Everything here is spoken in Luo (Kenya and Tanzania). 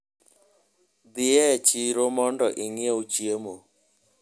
Dhi e chiro mondo ing'iew chiemo.